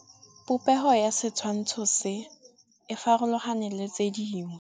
Popêgo ya setshwantshô se, e farologane le tse dingwe.